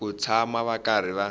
ku tshama va karhi va